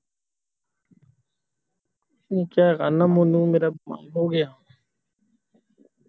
switch ਹੈਗਾ ਨਾ ਮੇਰਾ ਮੈਨੂੰ ਮੇਰਾ ਬੰਦ ਹੋ ਗਿਆ